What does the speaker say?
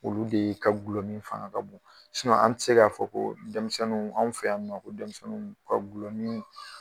Olu de ka gulɔmi fanga ka bon an tɛ se k'a fɔ ko denmisɛnnin, anw fɛ yan nɔ , ko ka gulɔ min.